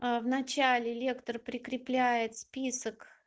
в начале лектор прикрепляет список